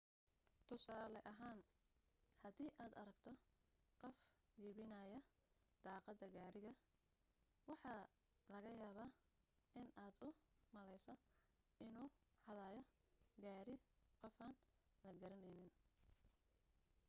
tusaale ahaan hadii aad aragto qof jebinaya daaqadda gaari waxaa laga yaabaa inaad u malayso inuu xadiyo gaari qofaan la garanayn